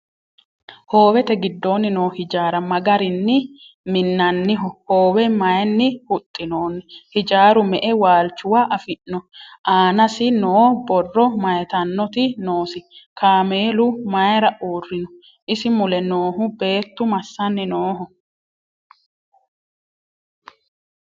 Hoowette gidoonni noo hijjari ma garinni minaminnoho? Hoowe mayiinni huxinoonni? Hijjaru me'e waalichuwa afi'no? Aanasi noo borro mayiittanotti noosi? Kaammelu mayiira uurinno? isi mule noohu beettu massanni nooho?